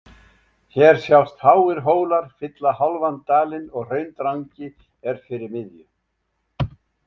Hér sjást háir hólar fylla hálfan dalinn og Hraundrangi er fyrir miðju